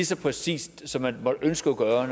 så præcist som man kunne ønske at gøre